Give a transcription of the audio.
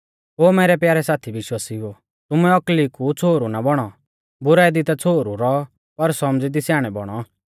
ओ मैरै प्यारै साथी विश्वासिउओ तुमै औकली कु छ़ोहरु ना बौणौ बुराई दी ता छ़ोहरु रौ पर सौमझ़ी दी स्याणै बौणौ